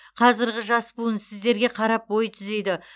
қазіргі жас буын сіздерге қарап бой түзейді